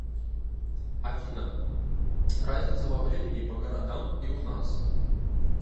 афина разница во времени по городам и у нас